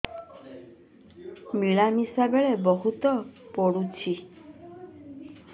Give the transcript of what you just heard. ମିଳାମିଶା ବେଳେ ବହୁତ ପୁଡୁଚି